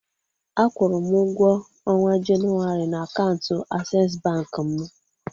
A kwụụrụ m ụgwọ ọnwa Jenụwarị na akaụntụ Asess bank m.